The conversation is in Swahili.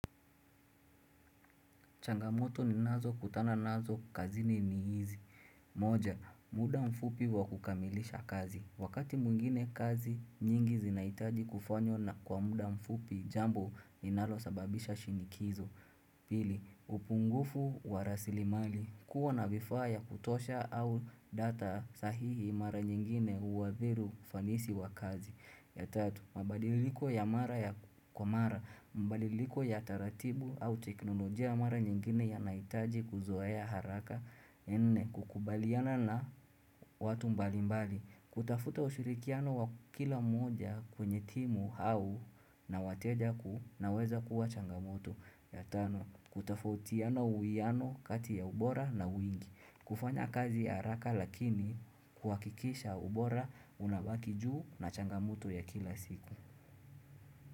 Changamoto ni nazo kutana nazo kazini ni hizi moja, muda mfupi wa kukamilisha kazi Wakati mwingine kazi nyingi zinahitaji kufanywa na kwa muda mfupi jambo linalo sababisha shinikizo Pili, upungufu wa rasilimali, kuwa na vifaa ya kutosha au data sahihi mara nyingine huathiri ufanisi wa kazi tatu, mabadiliko ya mara ya kwa mara, mabadiliko ya taratibu au teknolojia mara nyingine yanahitaji kuzoea haraka, ya nne, kukubaliana na watu mbali mbali, kutafuta ushirikiano wa kila moja kwenye timu au na wateja ku inaweza kuwa changamoto. Ya tano kutofautiana uwiano kati ya ubora na wingi, kufanya kazi haraka lakini kuhakikisha ubora unabaki juu na changamoto ya kila siku.